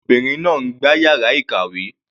Àwọn ọmọbìnrin náà ń gbá yàrá ìkàwé.